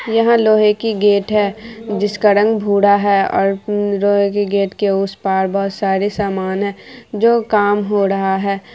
यहाँ लोहे की गेट है जिसका रंग भूरा है और जो लोहे के गेट के उस पार बहुत सारे सामान है जो काम हो रहा है।